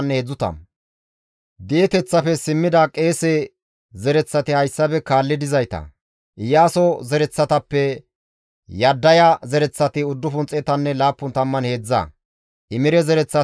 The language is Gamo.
Di7eteththafe simmidi Xoossa Keeththa oosos doorettida qommoti hayssafe kaalli dizayta; Xiha, Hasuphanne Xaba7oote zereththata,